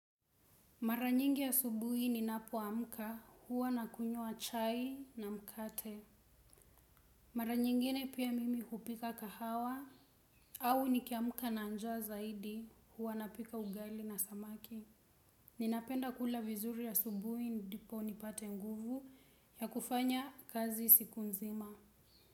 Mara nyingi asubuhi ninapoamka huwa nakunyua chai na mkate. Mara nyingine pia mimi hupika kahawa au nikiamka na jaa zaidi huwa napika ugaili na samaki. Ninapenda kula vizurii asbuhi ndipo nipate nguvu ya kufanya kazi siku nzima.